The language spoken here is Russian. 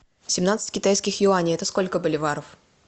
семнадцать китайских юаней это сколько боливаров